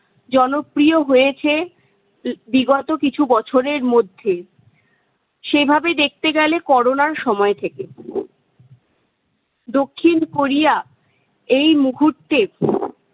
জনপ্রিয় হয়েছে বিগত কিছু বছরের মধ্যেই। সেভাবে দেখতে গেলে করোনার সময় থেকে। দক্ষিণ কোরিয়া এই মুহূর্তে